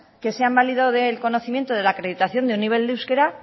que se han validado del conocimiento de la acreditación de un nivel de euskera